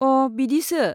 अ, बिदिसो।